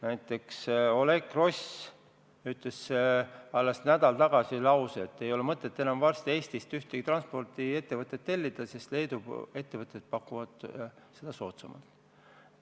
Näiteks Oleg Gross ütles alles nädal tagasi, et varsti ei ole enam mõtet Eestist ühtegi transpordiettevõtet tellida, sest Leedu ettevõtted pakuvad teenust soodsamalt.